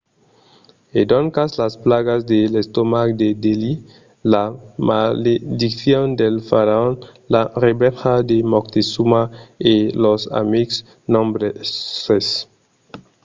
e doncas las plagas de l'estomac de delhi la malediccion del faraon la revenja de montezuma e lors amics nombroses